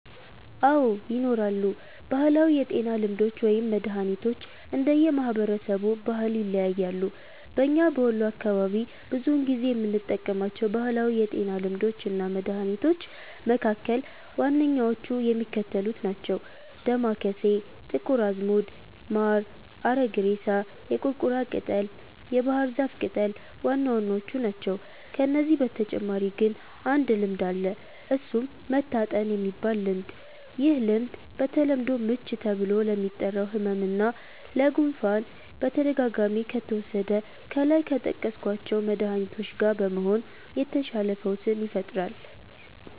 አዎ! ይኖራሉ። ባህላዊ የጤና ልምዶች ወይም መድሀኒቶች እንደየ ማህበረሰቡ ባህል ይለያያሉ። በኛ በወሎ አካባቢ ብዙውን ጊዜ የምንጠቀማቸው ባህላዊ የጤና ልምዶች እና መድሀኒቶች መካከል ዋነኛዎቹ የሚከተሉት ናቸው። ዳማከሴ፣ ጥቁር አዝሙድ፣ ማር፣ አረግሬሳ፣ የቁርቁራ ቅጠል፣ የባህር ዛፍ ቅጠል ዋናዎቹ ናቸው። ከነዚህ በተጨማሪ ግን አንድ ልምድ አለ እሱም "መታጠን"የሚባል ልምድ፤ ይህ ልምድ በተለምዶ "ምች" ተብሎ ለሚጠራው ህመም እና ለ"ጉፋን"በተደጋጋሚ ከተወሰደ ከላይ ከጠቀስኳቸው መድሀኒቶች ጋ በመሆን የተሻለ ፈውስን ይፈጥራል።